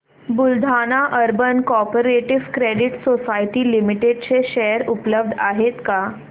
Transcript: Buldhana urban cooperative credit society limited चे share उपलब्ध आहेत का